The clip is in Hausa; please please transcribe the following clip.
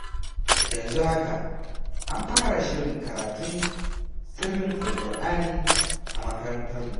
Yanzu haka, an fara shirin karatun sirrin Alƙur’ani a makarantarmu.